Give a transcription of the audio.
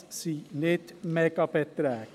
Das sind keine Mega-Beträge.